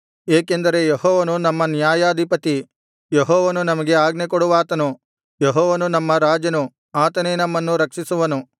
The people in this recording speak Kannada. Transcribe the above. ಏಕೆಂದರೆ ಯೆಹೋವನು ನಮ್ಮ ನ್ಯಾಯಾಧಿಪತಿ ಯೆಹೋವನು ನಮಗೆ ಆಜ್ಞೆಕೊಡುವಾತನು ಯೆಹೋವನು ನಮ್ಮ ರಾಜನು ಆತನೇ ನಮ್ಮನ್ನು ರಕ್ಷಿಸುವನು